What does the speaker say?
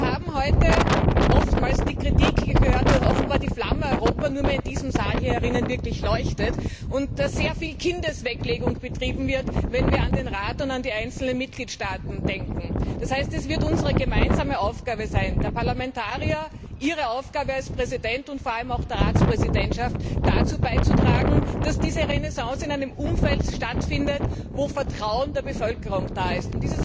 Wir haben heute oftmals die Kritik gehört, dass offenbar die Flamme Europa nur noch in diesem Saal wirklich leuchtet und sehr viel Kindesweglegung betrieben wird, wenn wir an den Rat und an die einzelnen Mitgliedstaaten denken. Das heißt, es wird unsere gemeinsame Aufgabe sein der Parlamentarier, Ihre Aufgabe als Präsident und vor allem auch die Aufgabe der Ratspräsidentschaft dazu beizutragen, dass diese Renaissance in einem Umfeld stattfindet, wo Vertrauen der Bevölkerung da ist.